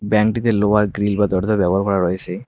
ব্যাংকটিতে লোহার গ্রিল বা দরজা দেওয়া করা রয়েছে।